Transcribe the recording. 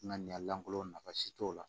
Ŋaniyalankolon nafa si t'o la